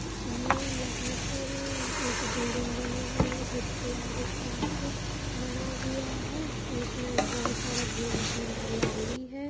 ये यहाँ पर एक बिल्डिंग बनी हुई है जिसके आगे पार्क बना हुआ है और उसमे बहुत ज्यादा ग्रीन ग्रीन हरियाली है।